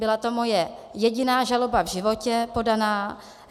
Byla to moje jediná žaloba v životě podaná.